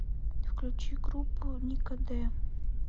включи группу ника де